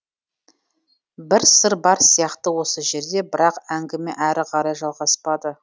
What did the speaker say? бір сыр бар сияқты осы жерде бірақ әңгіме әрі қарай жалғаспады